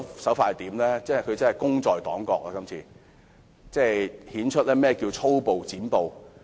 她真是"功在黨國"，顯出何謂粗暴"剪布"。